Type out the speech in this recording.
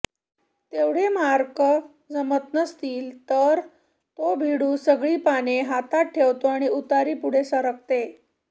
तेवढे मार्क जमत नसतिल तर तो भिडू सगळी पाने हातात ठेवतो आणि उतारी पुढे सरकते